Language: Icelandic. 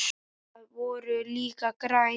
Þau voru líka græn.